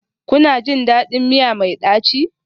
Kuna jin daɗin miya mai ɗaci?